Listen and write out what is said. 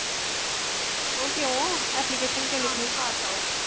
ਉਹ ਕਿਉ ਕਿਉ ਲਿਖਣੀ